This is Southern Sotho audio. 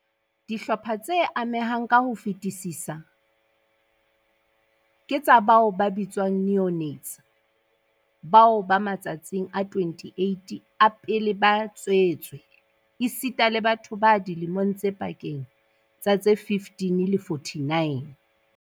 Dihlopha tse amehang ka ho fetisisa ke tsa bao ba bitswang neonates bao ba matsatsing a 28 a pele ba tswetswe, esita le batho ba dilemong tse pakeng tsa tse 15 le 49.